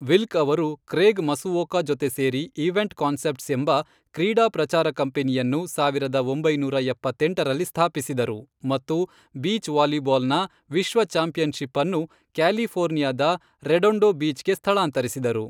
Wilk ಅವರು Craig Masuoka ಜೊತೆ ಸೇರಿ ಈವೆಂಟ್ ಕಾನ್ಸೆಪ್ಟ್ಸ್ ಎಂಬ ಕ್ರೀಡಾ ಪ್ರಚಾರ ಕಂಪನಿಯನ್ನು ಸಾವಿರದ ಒಂಬೈನೂರ ಎಪ್ಪತ್ತೆಂಟರಲ್ಲಿ ಸ್ಥಾಪಿಸಿದರು ಮತ್ತು ಬೀಚ್ ವಾಲಿಬಾಲ್ನ ವಿಶ್ವ ಚಾಂಪಿಯನ್ಶಿಪ್ ಅನ್ನು ಕ್ಯಾಲಿಫೋರ್ನಿಯಾದ ರೆಡೊಂಡೋ ಬೀಚ್ಗೆ ಸ್ಥಳಾಂತರಿಸಿದರು.